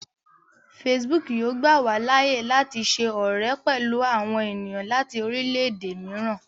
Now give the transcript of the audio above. Facebook yóò gbà wá láàyè láti ṣe ọrẹ pẹlú àwọn ènìyàn láti orilẹ-ède mìíràn